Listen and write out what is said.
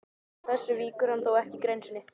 Að þessu víkur hann þó ekki í grein sinni.